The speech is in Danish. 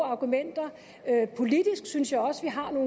argumenter og jeg synes også vi har